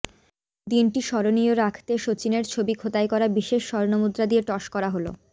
দিনটি স্মরণীয় রাখতে সচিনের ছবি খোদাই করা বিশেষ স্বর্ণমুদ্রা দিয়ে টস করা হল